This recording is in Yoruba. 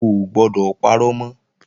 O ò gbọdọ̀ parọ́ mọ́!